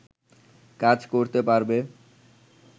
কাজ করতে পারবে